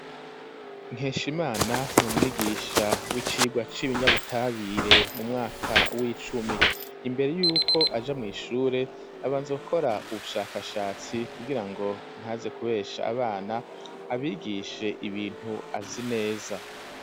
Nkeshimana n'umwigisha w'icigwa c'ibinyabutabire mu mwaka w'icumi imbere yuko aja mw'ishure abanze gukora ubushakashatsi kugira ngo ntaze kubesha abana abigishe ibintu atazi neza.